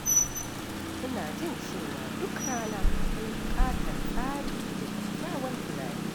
Ina jin cewa duk rana akwai buƙatar tsari da kyakkyawan tunani.